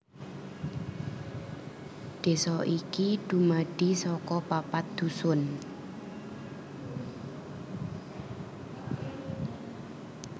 Desa iki dumadi saka papat Dusun